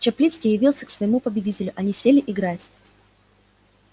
чаплицкий явился к своему победителю они сели играть